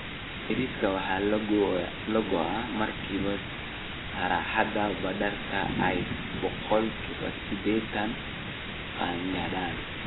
Bariiska waxa la go'aa marka saxarada badarka ay boqolkiba sideetan qaangaadhaan